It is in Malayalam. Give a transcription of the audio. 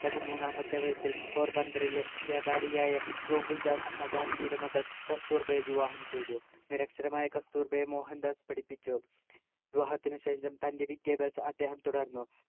പതിമൂന്നാമത്തെ വയസ്സിൽ പോർബന്തറിലെ വ്യാപാരിയായ ഗോകുൽദാസ് മകാൻജിയുടെ മകൾ കസ്തൂർബയെ വിവാഹം ചെയ്തു നിരക്ഷരമായ കസ്തുർഭയെ മോഹൻദാസ് പഠിപ്പിച്ചു വിവാഹത്തിനു ശേഷം തൻ്റെ വിദ്യാഭ്യാസം അദ്ദേഹത്തെ തുടർന്നു